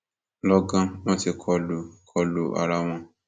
lọgán wọn tí kò lu kò lu ara wọn